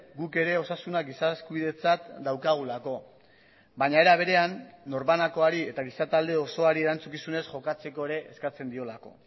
guk ere osasuna giza eskubidetzat daukagulako baina era berean norbanakoari eta giza talde osoari erantzukizunez jokatzeko ere eskatzen diolako